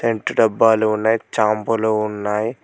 Cent డబ్బాలు ఉన్నాయి చాంపులు ఉన్నాయి.